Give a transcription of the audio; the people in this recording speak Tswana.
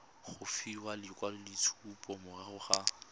go fiwa lekwaloitshupo morago ga